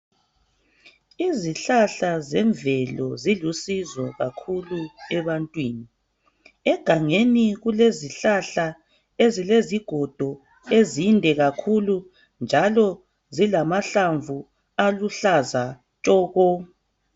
Izihlahla zemvelo zilusizo kakhulu ebantwini. Egangeni kulezihlahla ezilezigodo ezinde kakhulu njalo zilamahlamvu aluhlaza tshoko.